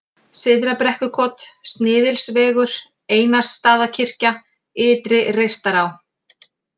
Syðra-Brekkukot, Sniðilsvegur, Einarsstaðakirkja, Ytri-Reistará